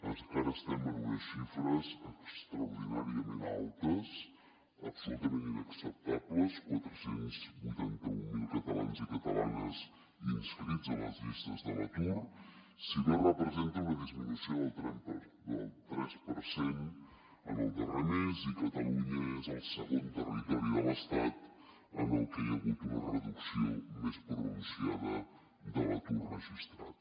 encara estem en unes xifres extraordinàriament altes absolutament inacceptables quatre cents i vuitanta mil catalans i catalanes inscrits en les llistes de l’atur si bé representa una disminució del tres per cent en el darrer mes i catalunya és el segon territori de l’estat en el que hi ha hagut una reducció més pronunciada de l’atur registrat